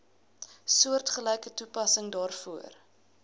soortgelyke toepassing daarvoor